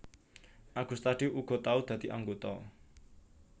Agustadi uga tau dadi anggota